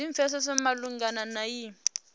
zwi pfesese malugana na iyi